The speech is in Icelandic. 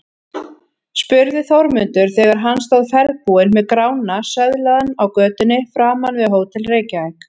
spurði Þórmundur þegar hann stóð ferðbúinn með Grána söðlaðan á götunni framan við Hótel Reykjavík.